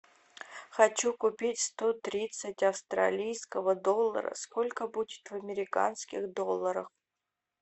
хочу купить сто тридцать австралийского доллара сколько будет в американских долларах